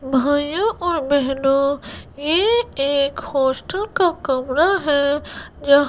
भैय्या और बहनों ये एक होस्टल का कमरा हैं जं--